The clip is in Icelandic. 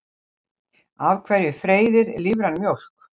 af hverju freyðir lífræn mjólk